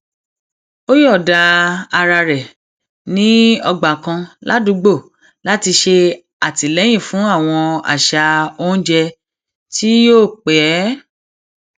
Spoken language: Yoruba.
ó yọọda ara rẹ ní ọgbà kan ládùúgbò láti ṣe àtìléyìn fún àwọn àṣà oúnjẹ tí yóò pẹ